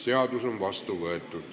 Seadus on vastu võetud.